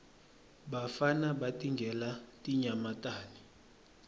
bafana batingela tinyamatane